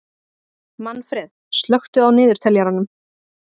Manfreð, slökktu á niðurteljaranum.